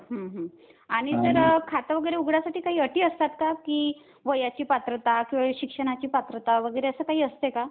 आणि सर खातं वगैरे उघडायसाठी काही अटी असतात का कि वयाची पात्रता किंवा शिक्षणाची पात्रता वगैरे असं काही असते का?